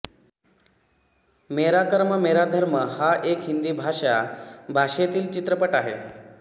मेरा कर्म मेरा धर्म हा एक हिंदी भाषा भाषेतील चित्रपट आहे